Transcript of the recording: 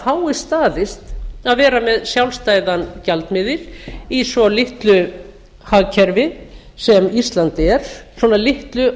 fáist staðist að vera með sjálfstæðan gjaldmiðil í svo litlu hagkerfi sem ísland er svona litlu